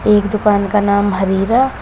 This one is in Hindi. एक दुकान का नाम हरीरा--